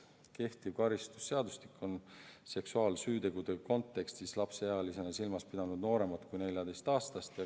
Kehtiv karistusseadustik on seksuaalsüütegude kontekstis lapseealisena silmas pidanud nooremat kui 14-aastast.